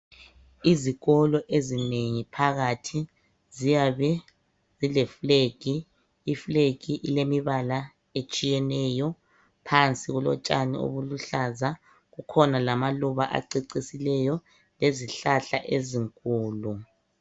Izikolo ezinengi phakathi ziyabe zile flag.I flag ilemibala etshiyeneyo, phansi kulotshani obuluhlaza . Kukhona lamaluba acecisileyo lezihlahla ezinkulu.